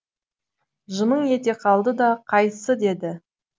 жымың ете қалды да қайсы деді